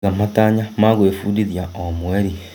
Iga matanya ma gwĩbundithia o mweri.